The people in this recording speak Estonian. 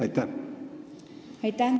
Aitäh!